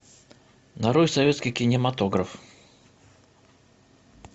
нарой советский кинематограф